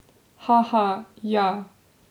Haha, ja!